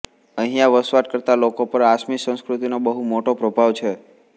અહિંયા વસવાટ કરતા લોકો પર આસામી સંસ્કૃતિનો બહુ મોટો પ્રભાવ છે